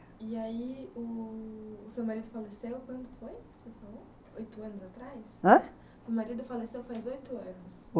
E aí ú u seu marido faleceu quando foi que você falou? oito anos atrás? Hã? seu marido faleceu faz oito anos...